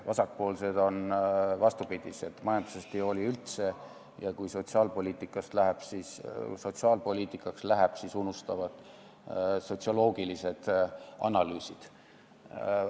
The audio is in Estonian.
Vasakpoolsetel on vastupidi: majandusest nad ei hooli üldse ja kui sotsiaalpoliitikaks läheb, siis unustavad sotsioloogilised analüüsid.